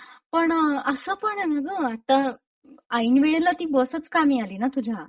पण असपण आहे ना ग आता ऐन वेळेला ती बसच कामी आली ना तुझ्या!